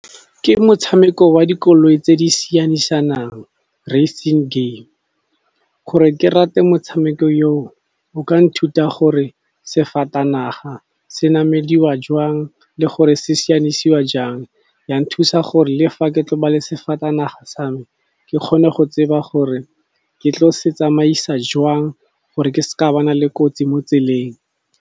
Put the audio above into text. Ke motshameko wa dikoloi tse di sianisanang, racing game. Gore ke rate motshameko yo o ka nthuta gore sefatanaga se namediwa jwang le gore se sianisiwa jang. Ya thusa gore le fa ke tlo ba le sefatanaga sa me ke kgone go tseba gore ke tlo se tsamaisa jwang gore ke se ka ba na le kotsi mo tseleng.